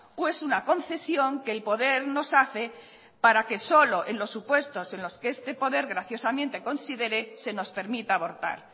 o es una concesión que el poder nos hace para que solo en los supuestos en los que este poder graciosamente considere se nos permita abortar